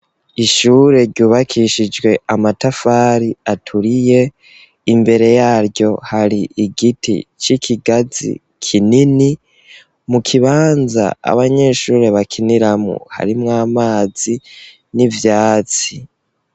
Ishure ryubakishijwe amatafari aturiye imbere yaryo hari igiti c'ikigazi kinini, mu kibanza abanyeshuri bakiniramwo harimw 'amazi n'ivyatsi.